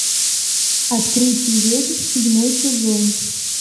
открытие ведьм седьмой сезон